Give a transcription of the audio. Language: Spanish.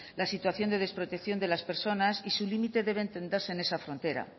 la situación de desprotección de las personas y su límite debe entenderse en esa frontera